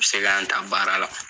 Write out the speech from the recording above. U bɛ se ka an ta baara la